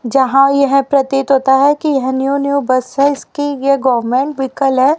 जहां यह प्रतीत होता है कि यह न्यू न्यू बस है इसकी ये गवर्नमेंट व्हीकल है।